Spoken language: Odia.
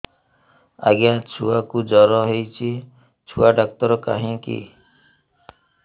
ଆଜ୍ଞା ଛୁଆକୁ ଜର ହେଇଚି ଛୁଆ ଡାକ୍ତର କାହିଁ କି